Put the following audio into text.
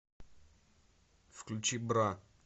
включи бра